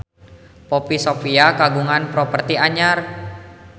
Poppy Sovia kagungan properti anyar